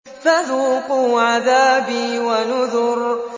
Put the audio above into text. فَذُوقُوا عَذَابِي وَنُذُرِ